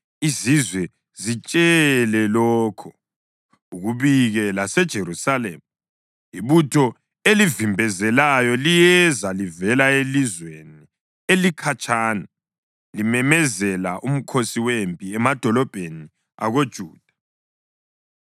Izizwe zitshele lokhu, ukubike laseJerusalema, “Ibutho elivimbezelayo liyeza livela elizweni elikhatshana, limemezela umkhosi wempi emadolobheni akoJuda.